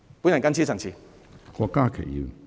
本人謹此陳辭。